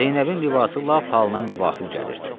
Zeynəbin libası lap halına müvafiq gəlirdi.